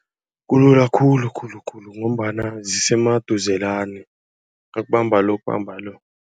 Kulula khulu khulu khulu ngombana zisemaduzelana nakubamba lo kubamba lo.